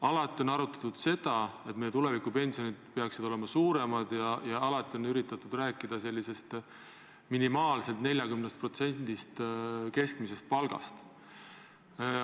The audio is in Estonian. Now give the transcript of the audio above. Alati on arutatud seda, et meie tuleviku pensionid peaksid olema suuremad, ja alati on üritatud rääkida minimaalsest tasemest 40% keskmisest palgast.